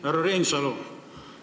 Härra Reinsalu!